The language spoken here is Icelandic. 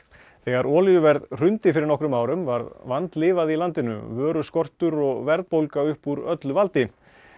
þegar olíuverð hrundi fyrir nokkrum árum varð vandlifað í landinu vöruskortur og verðbólga upp úr öllu valdi